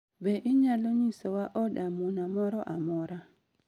Be inyalo nyisowa od amuna moro amora?